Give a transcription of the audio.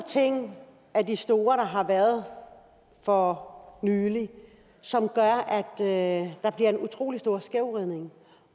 af de store ting der har været for nylig som gør at at der bliver en utrolig stor skævvridning